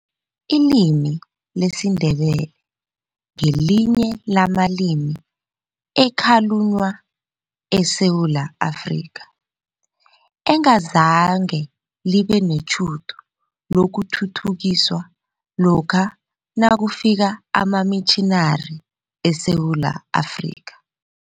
Ilimi lesiNdebele ngelinye lamalimi ekhalunywa eSewula Afrika, engazange libe netjhudu lokuthuthukiswa lokha nakufika amamitjhinari eSewula Afrika.